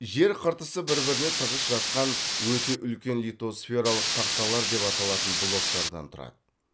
жер қыртысы бір біріне тығыз жатқан өте үлкен литосфералық тақталар деп аталатын блоктардан тұрады